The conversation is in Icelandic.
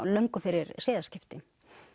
löngu fyrir siðaskiptin